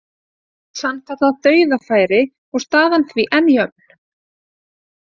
Sannkallað dauðafæri og staðan því enn jöfn.